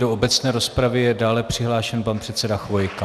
Do obecné rozpravy je dále přihlášen pan předseda Chvojka.